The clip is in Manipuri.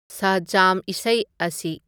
ꯁ꯭ꯍꯖꯥꯝ ꯏꯁꯩ ꯑꯁꯤ